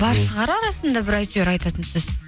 бар шығар арасында бір әйтеуір айтатын сөз